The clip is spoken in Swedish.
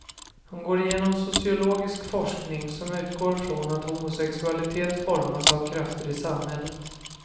Hon går igenom sociologisk forskning som utgår från att homosexualitet formas av krafter i samhället.